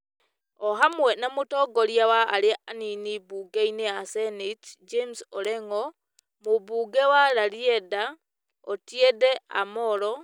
o hamwe na mũtongoria wa arĩa anini mbunge-inĩ ya seneti James Orengo, mũmbunge wa Rarieda Otiende Amollo